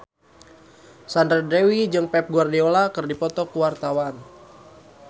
Sandra Dewi jeung Pep Guardiola keur dipoto ku wartawan